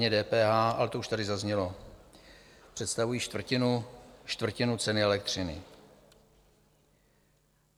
Daně, DPH, ale to už tady zaznělo, představují čtvrtinu ceny elektřiny.